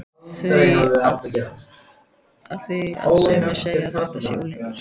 Af því að sumir segja að þetta sé unglingur.